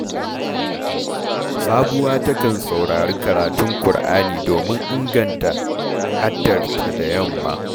Sabuwa takan saurari karatun Kur’ani domin inganta haddarta da yamma